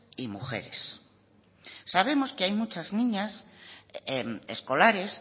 y mujeres sabemos que hay muchas niñas escolares